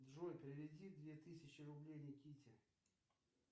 джой переведи две тысячи рублей никите